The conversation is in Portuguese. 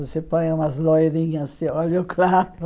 Você põe umas loirinhas, de olho claro.